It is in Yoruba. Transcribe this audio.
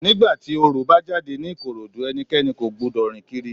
Ní ìgbà tí Orò bá jáde ní Ìkòròdú, ẹnikẹ́ni kò gbúdọ̀ rìn kiri.